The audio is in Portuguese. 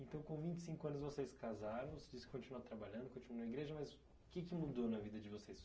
Então com vinte e cinco anos vocês casaram, vocês continuaram trabalhando, continuaram indo à igreja, mas o que que mudou na vida de vocês?